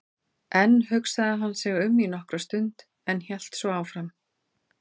Enn hugsaði hann sig um í nokkra stund en hélt svo áfram